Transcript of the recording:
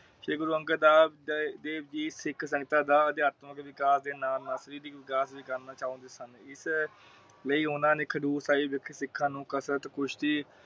ਸ਼੍ਰੀ ਗੁਰੂ ਅੰਗਦ ਦੇਵ ਜੀ ਸਿੱਖ ਸੰਸਥਾ ਦਾ ਅਦਿਆਪਮਕ ਦਾ ਨਾਲ ਨਾਲ ਇਸ ਲਾਇ ਓਹਨਾ ਨੇ ਹਜੂਰ ਸਾਹਿਬ ਵਿਚ ਸਿੱਖਾਂ ਨੂੰ ਕਸਰਤ ਕੁਸਤੀ